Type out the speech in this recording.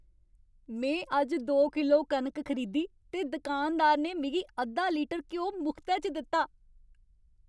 में अज्ज दो किलो कनक खरीदी ते दकानदार ने मिगी अद्धा लीटर घ्यो मुख्तै च दित्ता।